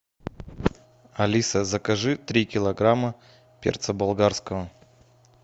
алиса закажи три килограмма перца болгарского